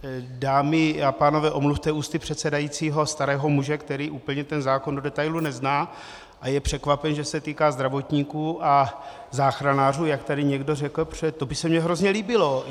Dámy a pánové, omluvte ústy předsedajícího starého muže, který úplně ten zákon do detailu nezná a je překvapen, že se týká (?) zdravotníků a záchranářů, jak tady někdo řekl, protože to by se mi hrozně líbilo.